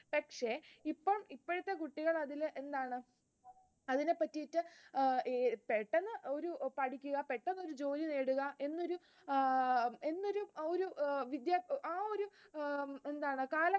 പക്ഷെ ഇപ്പഴത്തെ കുട്ടികൾ അതിൽ എന്താണ് അതിനെപറ്റിയിട്ട് പെട്ടന്ന് പഠിക്കുക പെട്ടെന്ന് ഒരു ജോലി നേടുക ആഹ് എന്നൊരു എന്നൊരു ഒരു ആ ഒരു എന്താണ് കാലം